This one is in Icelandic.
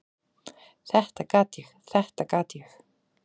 """Þetta gat ég, þetta gat ég!"""